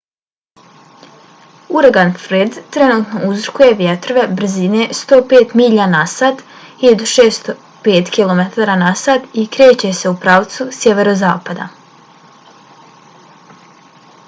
uragan fred trenutno uzrokuje vjetrove brzine 105 milja na sat 165 km/h i kreće se u pravcu sjeverozapada